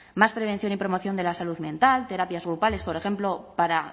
más prevención y promoción de la salud mental terapias grupales por ejemplo para